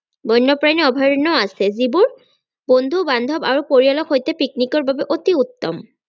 বন্যপ্ৰানী অভয়াৰন্যও আছে যিবোৰ বন্ধু বান্ধৱ আৰু পৰিয়ালৰ সৈতে picnic ৰ বাবে অতি উত্তম।